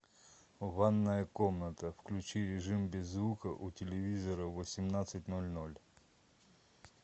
ванная комната включи режим без звука у телевизора в восемнадцать ноль ноль